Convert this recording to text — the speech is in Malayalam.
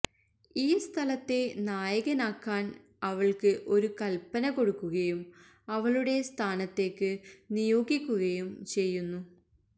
ഈ സ്ഥലത്തെ നായകനാക്കാൻ അവൾക്ക് ഒരു കൽപ്പന കൊടുക്കുകയും അവളുടെ സ്ഥാനത്തേക്ക് നിയോഗിക്കുകയും ചെയ്യുന്നു